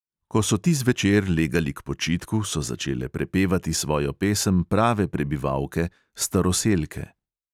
Ko so ti zvečer legali k počitku, so začele prepevati svojo pesem prave prebivalke, staroselke.